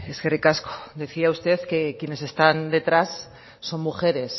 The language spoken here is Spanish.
eskerrik asko decía usted que quienes están detrás son mujeres